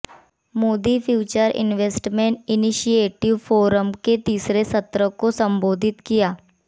Modi future investment initiative forum के तीसरे सत्र को संबोधित किया